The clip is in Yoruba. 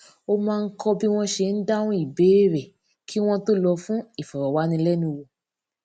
ó máa ń kó bí wón ṣe ń dáhùn ìbéèrè kí wón tó lọ fún ìfòròwánilénuwò